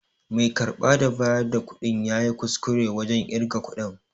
Mai karba da bayar da kuɗin yayi kuskure wajen ƙirga kuɗin.